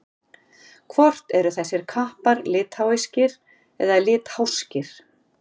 Hvort eru þessir kappar litháískir eða litháskir?